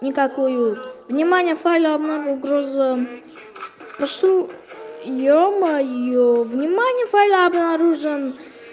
никакую внимание файлом угрозам да что ё-моё внимание файл обнаружен